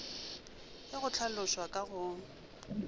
ge go hlalošwa ka go